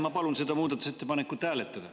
Ma palun seda muudatusettepanekut hääletada.